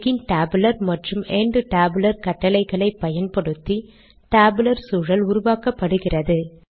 begin tabular மற்றும் end tabular கட்டளைகளை பயன்படுத்தி டேபுலர் சூழல் உருவாக்கப்படுகிறது